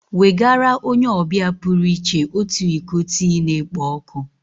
Nwegara onye ọbịa pụrụ iche otu iko tii na-ekpo ọkụ